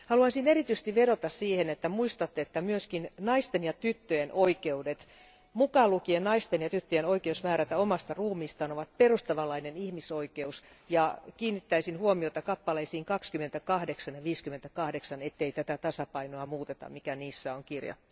Haluaisin erityisesti vedota siihen, että muistatte, että myös naisten ja tyttöjen oikeudet, mukaan lukien naisten ja tyttöjen oikeus määrätä omasta ruumistaan, ovat perustavanlainen ihmisoikeus, ja kiinnittäisin huomiota 28 ja 58 kohtaan, ettei tätä tasapainoa muuteta, mikä niissä on kirjattu.